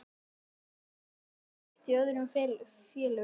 Hefur Eiður heyrt í öðrum félögum?